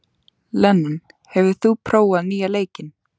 Leon, hefur þú prófað nýja leikinn?